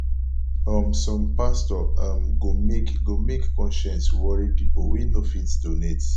um som pastor um go make go make conscience wori pipol wey no fit donate